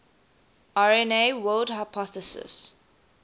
rna world hypothesis